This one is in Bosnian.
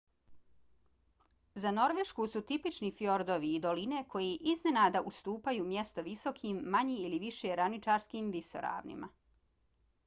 za norvešku su tipični fjordovi i doline koje iznenada ustupaju mjesto visokim manje ili više ravničarskim visoravnima